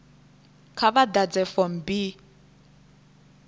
kha vha ḓadze form b